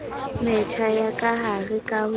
metjha ya kahare ka ho